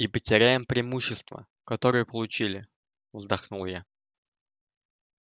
и потеряем преимущество которое получили вздохнул я